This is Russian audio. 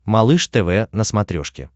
малыш тв на смотрешке